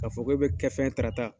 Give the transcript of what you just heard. Ka fɔ k'e bɛ kɛ fɛn ye Tarata